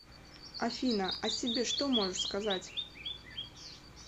афина о себе что можешь сказать